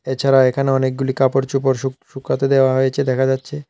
এছাড়া এখানে অনেকগুলি কাপড়-চুপড় শু শুকাতে দেওয়া হয়েছে দেখা যাচ্ছে।